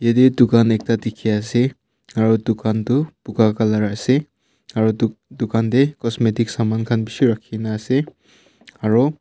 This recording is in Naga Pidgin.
ede dukan ekta dikhi ase aru dukan tu buga color ase aro du dukan de cosmetic saman khan bishi rakhi na ase aro.